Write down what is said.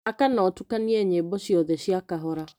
Thaka na ũtukanie nyĩmbo ciothe cia kahora.